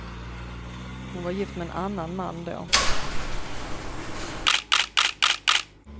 Hon var gift med en annan man då.